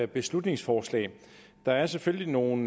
beslutningsforslag der er selvfølgelig nogle